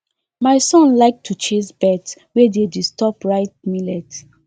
my son like to chase birds wey dey disturb ripe millet